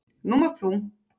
Nú mátt þú.